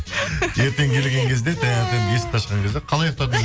ертең келген кезде таңертең есікті ашқан кезде қалай ұйықтадың